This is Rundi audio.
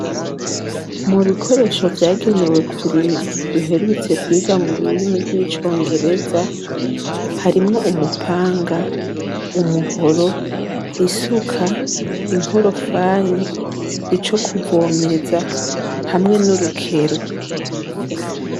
Mu bikoresho vyagenewe kurima duherutse kwiga mu rurimi rw'icongereza harimwo umupanga umuhoro isuka inkorofani ico kuvomeza hamwe n'urukero.